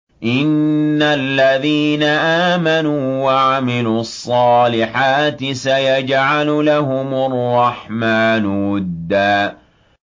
إِنَّ الَّذِينَ آمَنُوا وَعَمِلُوا الصَّالِحَاتِ سَيَجْعَلُ لَهُمُ الرَّحْمَٰنُ وُدًّا